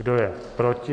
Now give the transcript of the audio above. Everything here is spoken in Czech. Kdo je proti?